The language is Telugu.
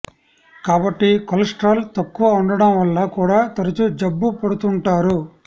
కాబట్టి కొలెస్ట్రాల్ తక్కువ ఉండటం వల్ల కూడా తరచూ జబ్బు పడుతుంటారు